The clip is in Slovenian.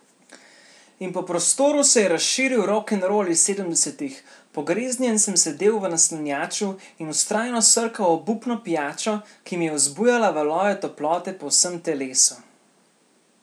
In po prostoru se je razširil rokenrol iz sedemdesetih, pogreznjen sem sedel v naslanjaču in vztrajno srkal obupno pijačo, ki mi je vzbujala valove toplote po vsem telesu.